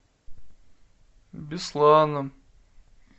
бесланом